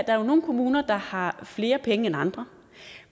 er jo nogle kommuner der har flere penge end andre